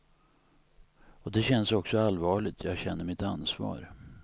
Och det känns också allvarligt, jag känner mitt ansvar.